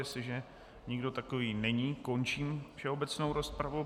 Jestliže nikdo takový není, končím všeobecnou rozpravu.